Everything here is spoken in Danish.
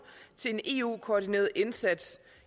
til en eu koordineret indsats